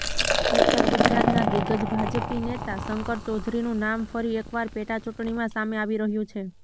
ઉત્તર ગુજરાતના દિગ્ગ્જ ભાજપી નેતા શંકર ચૌધરીનું નામ ફરી એકવાર પેટાચુંટણીમાં સામે આવી રહ્યુ છે